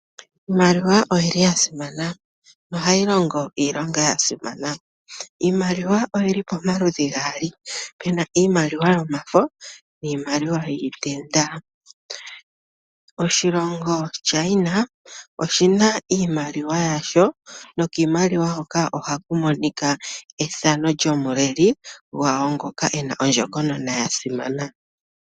Iimaliwa oya simana, oshoka ohayi longo iilonga ya simana. Iimaliwa oyi li pamaludhi ge li gaali , pu na iimaliwa yomafo oshowo iimaliwa yiitenda. Oshilongo China oshi na iimaliwa yasho. Kiimaliwa hoka ohaku monika ethano lyomuleli gwawo, ngoka e na ondjokonona ya simana.